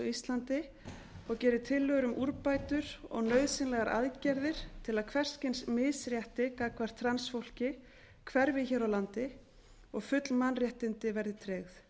íslandi og geri tillögur um úrbætur og nauðsynlegar aðgerðir til að hvers kyns misrétti gagnvart transfólki hverfi hér á landi og full mannréttindi þess verði tryggð